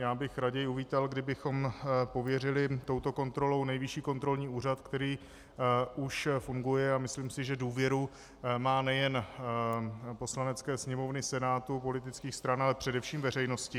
Já bych raději uvítal, kdybychom pověřili touto kontrolou Nejvyšší kontrolní úřad, který už funguje, a myslím si, že důvěru má nejen Poslanecké sněmovny, Senátu, politických stran, ale především veřejnosti.